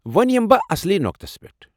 وۄنۍ یِمہٕ بہٕ اصلی نوقتس پٮ۪ٹھ ۔